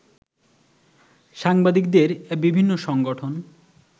সাংবাদিকদের বিভিন্ন সংগঠন